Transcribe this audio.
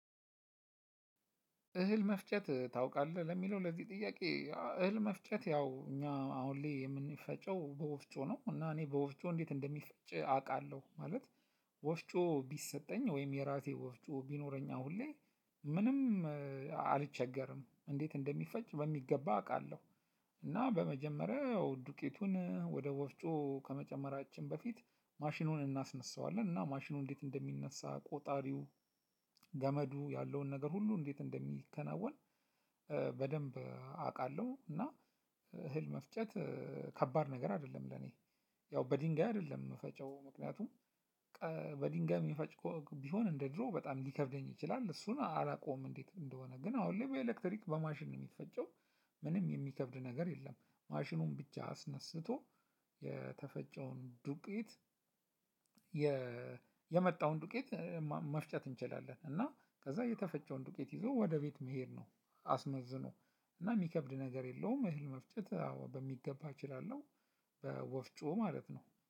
እህል መፍጨት ታውቃለህ ለሚለው ለዚህ ጥያቄ እህል መፍጨት ያው እኛ አሁን ላይ የምንፈጨው በወፍጮ ነው እና እኔ በወፍጮ እንዴት እንደሚፈጭ አቃለሁ ማለት። ወፍጮ ቢሰጠኝ ወይም የራሴ ወፍጮ ቢኖረኝ አሁን ላይ። ምንም አልቸገርም እንዴት እንደሚፈጭ በሚገባ አቃለሁ። እና በመጀመሪያ ያው ዱቄቱን ወደ ወፍጮ ከመጨመራችን በፊት ማሽኑን እናስነሳዋለን እና ማሽኑ እንዴት እንደሚነሳ ቆጣሪው ገመዱ ያለውን ነገር ሁሉ እንዴት እንደሚከናወን። አቃለሁ እና እህል መፍጨት ከባድ ነገር አይደለም ለኔ። ያው በድንጋይ አይደለም እምፈጨው ምክንያቱም በድንጋይ የሚፈጭ ቢሆን እንደ ድሮው በጣም ሊከብደኝ ይችላል እሱን አላውቀውም። እንዴት እንደሆነ ግን አሁን ላይ በኤሌክትሪክ በማሽን የሚፈጨው ምንም የሚከብድ ነገር የለም። ማሽኑን ብቻ አስነስቶ የተፈጨውን ዱቄት። የመጣውን ዱቄት መፍጨት እንችላለን እና ከዛ የተፈጨውን ዱቄት ይዞ ወደ ቤት መሄድ ነው። አስመዝኖ እና የሚከብድ ነገር የለውም መፍጨት አዎ በሚገባ እችላለሁ። በወፍጮ ማለት ነው